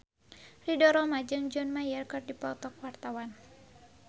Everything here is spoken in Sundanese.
Ridho Roma jeung John Mayer keur dipoto ku wartawan